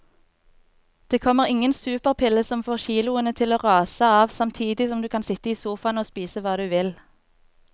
Det kommer ingen superpille som får kiloene til å rase av samtidig som du kan sitte i sofaen og spise hva du vil.